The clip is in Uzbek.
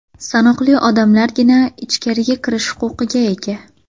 Sanoqli odamlargina ichkariga kirish huquqiga ega.